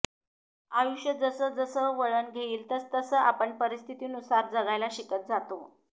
आयुष्य जसं जसं वळण घेईल तस तस आपण परिस्थितीनुसार जगायला शिकत जातो